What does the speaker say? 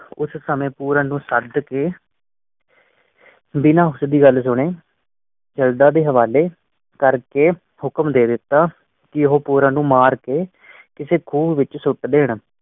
ਕੁਛ ਸਮੇਂ ਪੂਰਨ ਨੂੰ ਛੱਡ ਕੇ ਬਿਨਫਸ਼ ਦੀ ਗੱਲ ਸੁਣੇ ਕੈਨੇਡਾ ਦੇ ਹਵਾਲੇ ਕਰਕੇ ਹੁਕਮ ਦੇ ਦਿੱਤਾ ਕੀ ਉਹ ਪੂਰਨ ਨੂੰ ਮਾਰ ਕੇ ਕਿਸੇ ਕੂਹ ਵਿਚ ਸੁਤ ਦੇਣ